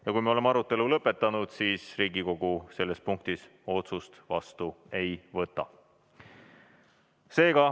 Ja kui me oleme arutelu lõpetanud, siis Riigikogu selles punktis otsust vastu ei võta.